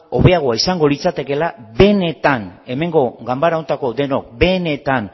hobeagoa litzatekeela ganbara honetako denok benetan